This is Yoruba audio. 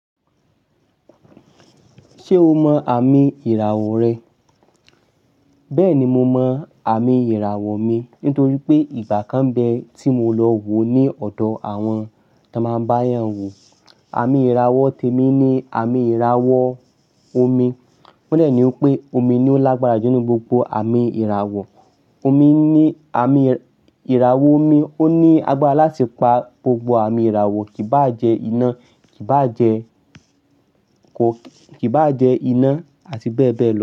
Ṣé o mọ àmì ìràwọ̀ rẹ? Bẹ́ẹ̀ni, mo mọ àmì ìràwọ̀ mi nítorí pé ìgbà kan bẹ́ẹ̀ tí mo lọ wò ó ní ọ̀dọ̀ àwọn tí a máa ń bá yàn wò. Àmì ìràwọ̀ tèmi ni àmì ìràwọ̀ omi. Won de ni wipé omi ni ó lágbára jù nínú gbogbo àmì ìràwọ̀. Omi ní àmì ìràwọ̀ omi ó ní agbára láti pa gbogbo àmì ìràwọ̀, kì bá jẹ iná, kì bá jẹ ko, kì bá jẹ iná àti bẹ́ẹ̀ bẹ́ẹ̀ lọ.